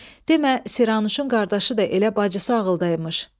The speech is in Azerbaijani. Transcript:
Demə Siranuşun qardaşı da elə bacısı ağıldaymış.